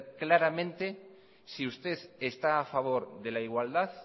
claramente si usted está a favor de la igualdad